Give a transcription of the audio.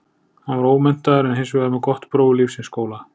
Hann var ómenntaður en hins vegar með gott próf úr lífsins skóla.